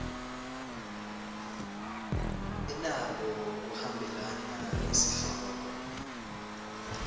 inako kuhambelana nesihloko